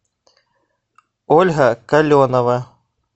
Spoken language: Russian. ольга каленова